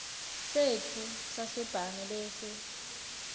setfu sasebhange bese